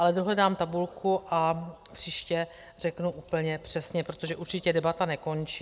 Ale dohledám tabulku a příště řeknu úplně přesně, protože určitě debata nekončí.